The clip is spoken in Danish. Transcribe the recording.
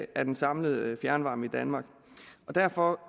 af den samlede fjernvarme i danmark derfor